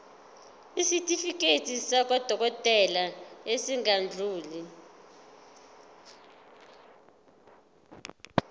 isitifiketi sakwadokodela esingadluli